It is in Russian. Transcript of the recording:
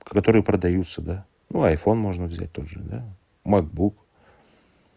которые продаются да ну айфон можно взять тот же да макбук